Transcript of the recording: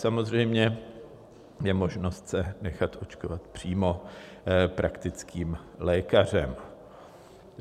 Samozřejmě je možnost se nechat očkovat přímo praktickým lékařem.